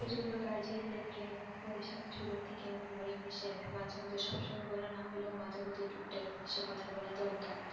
যে জন্য guardian দের কে ওদের সাথে ছোট থেকে মনে করেন english মাঝে মধ্যে সব সময় বলা না হলেও মাঝে মধ্যে টুকটাক english এ কথা বলা দরকার